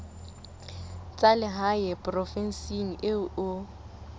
tsa lehae provinseng eo o